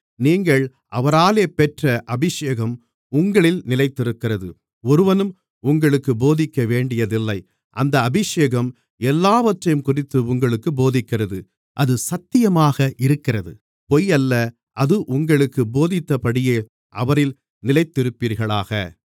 நீங்கள் அவராலே பெற்ற அபிஷேகம் உங்களில் நிலைத்திருக்கிறது ஒருவரும் உங்களுக்குப் போதிக்கவேண்டியதில்லை அந்த அபிஷேகம் எல்லாவற்றையும்குறித்து உங்களுக்குப் போதிக்கிறது அது சத்தியமாக இருக்கிறது பொய்யல்ல அது உங்களுக்குப் போதித்தபடியே அவரில் நிலைத்திருப்பீர்களாக